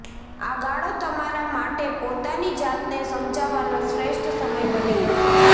આ ગાળો તમારા માટે પોતાની જાતને સમજવાનો શ્રેષ્ઠ સમય બની રહેશે